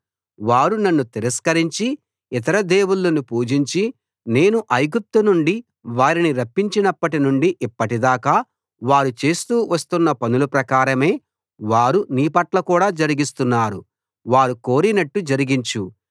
వారు నన్ను తిరస్కరించి ఇతర దేవుళ్ళను పూజించి నేను ఐగుప్తునుండి వారిని రప్పించినప్పటి నుండి ఇప్పటిదాకా వారు చేస్తూ వస్తున్న పనుల ప్రకారమే వారు నీ పట్ల కూడా జరిగిస్తున్నారు వారు కోరినట్టు జరిగించు